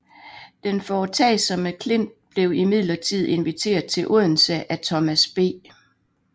Den foretagsomme Klint blev imidlertid inviteret til Odense af Thomas B